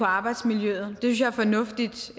arbejdsmiljøet det synes jeg er fornuftigt